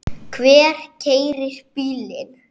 Hver keyrir bílinn?